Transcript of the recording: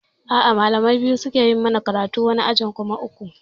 A'a malamai biyu suke yi mana karatu, wani ajin kuma uku